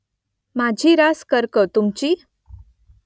माझी रास कर्क तुमची ?